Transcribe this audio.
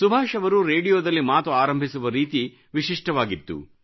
ಸುಭಾಷ್ ಅವರು ರೇಡಿಯೋದಲ್ಲಿ ಮಾತು ಆರಂಭಿಸುವ ರೀತಿ ವಿಶಿಷ್ಟವಾಗಿತ್ತು